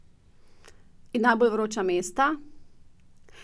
In najbolj vroča mesta?